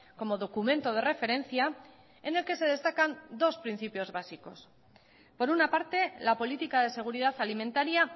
como documento de referencia en el que se destacan dos principios básicos por una parte la política de seguridad alimentaria